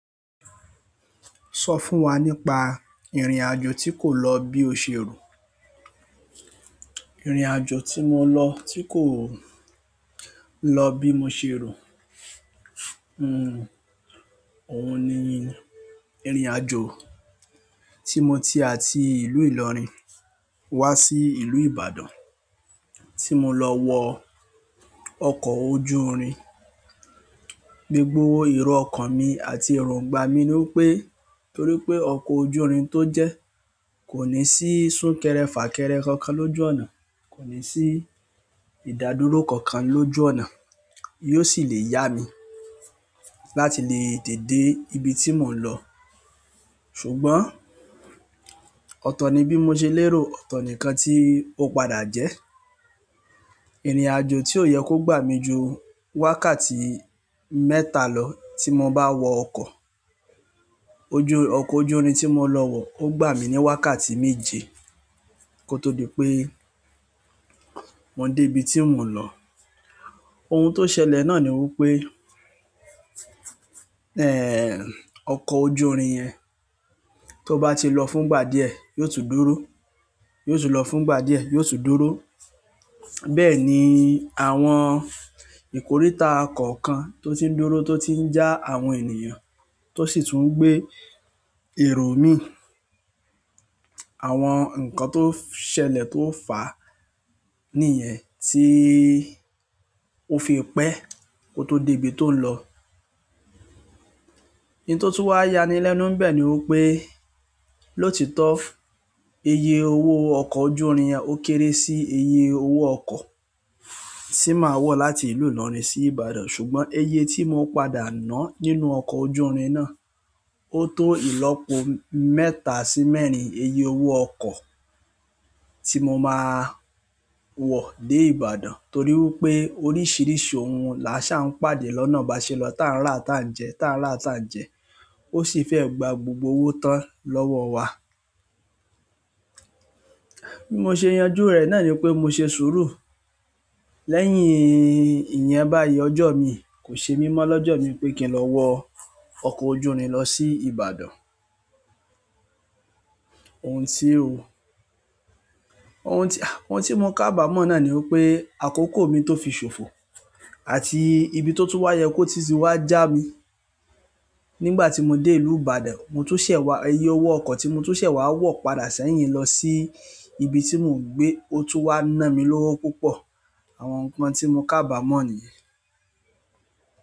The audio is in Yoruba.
Sọ fún wa nípa ìrìnàjò tí kò lọ bí o ṣe rò. Ìrìnàjò tí mo lọ tí kò lọ bí mo ṣe rò, ohun ni ìrìnàjò tí mo ti àti ìlú Ìlọrin wá sí ìlú Ìbàdàn. Tí mo lọ wọ ọkọ̀ ojú irin, gbogbo èrò ọkàn mi àti èròǹgbà mi ni wípé, torí pé ọkọ̀ ojú irin tó jẹ́ kò ní sí súnkẹrẹ fàkẹrẹ kankan lójú ọ̀nà, kò ní sí ìdádúró kankan lójú ọ̀nà, yóò sì le yá mi láti lè tètè dé ibi tí mò ń lọ. Ṣùgbọ́n, ọ̀tọ̀ ni bí mo ṣe lérò, ọ̀tọ̀ nìkan tí ó padà jẹ́. Ìrìnàjò tí ó yẹ kó gbà mí ju wákàtí mẹ́ta lọ tí mo bá wọ ọkọ̀ ojú, ọkọ̀ ojú irin tí mo lọ wọ̀ ó gbà mí ní wákàtí méje kó tó di pé mo dé ibi tí mò ń lọ. Ohun tó ṣẹlẹ̀ náà ni wípé, ẹ́ẹ́, ọkọ̀ ojú irin yẹn tó bá ti lọ fún ìgbà díẹ̀, yóò tún dúró, yóò tún lọ fún ìgbà díẹ̀, yóò tún dúró. Bẹ́ẹ̀ni àwọn ikòritá kọkàn tó tí ń dúró to tí ń já àwọn ènìyàn tó sì tún gbé èrò mì àwọn nǹkan tó ṣẹlẹ̀ tó fà níyẹn tí ó fi pẹ́ kó tó dé ibi tó ń lọ. Òun tó tún wá yáni lẹ́nu n'bẹ ni pé lotitọ ìyè owó ọkọ̀ ojú irin yẹn ó kéré sí iye owó ọkọ̀ tí màá wọ̀ láti ìlú Ìlọrin sí Ìbàdàn. Ṣùgbọ́n ìyè tí mo padà ná nínú ọkọ̀ ojú irin náà ó tó ìlọ́po mẹ́ta sí mẹ́rin iye owó ọkọ̀ tí mo máa wọ̀ dé Ìbàdàn. Torí wípé oríṣìíríṣìí ohun làṣà ń pàdé lọ́nà báṣe lọ, tàń rá tàń jẹ́, tàń rá tàń jẹ́. Ó sì fẹ́ gba gbogbo owó tán lọ́wọ́ wa. Bí mo ṣe yanjú rẹ̀ náà ni pé mo ṣe sùúrù. Lẹ́yìn ìyẹn báyìí ọjọ́ mi kò ṣe mímọ́ lọ́jọ́ mi pé kí n lọ wọ ọkọ̀ ojú irin lọ sí Ìbàdàn. Ohun tí ó, ohun tí, ohun tí mo kábàámọ̀ náà ni wípé àkókò mi tó fi ṣòfò àti ibi tó tún wá yẹ kó ti sì wá já mi nígbà tí mo dé ìlú Ìbàdàn, mo tún ṣẹ̀ wá ìyè owó ọkọ̀ tí mo tún ṣẹ̀ wá wọ̀ padà sẹ́yìn lọ sí ibi tí mò ń gbé ó tún wá ná mi lówó púpọ̀. Àwọn nǹkan tí mo kábàámọ̀ nìyẹn.